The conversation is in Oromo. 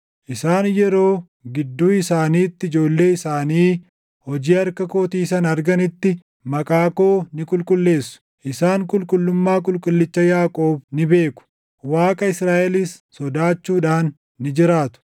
Isaan yeroo gidduu isaaniitti ijoollee isaanii hojii harka kootii sana arganitti, maqaa koo ni qulqulleessu; isaan qulqullummaa Qulqullicha Yaaqoob ni beeku; Waaqa Israaʼelis sodaachuudhaan ni jiraatu.